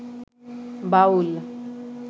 বাউল